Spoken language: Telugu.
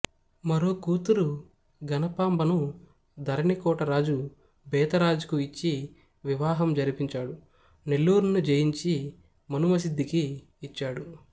మరో కూతురు గణపాంబను ధరణికోట రాజు బేతరాజుకు ఇచ్చి వివాహం జరిపించాడు నెల్లూరును జయించి మనుమసిద్ధికి ఇచ్చాడు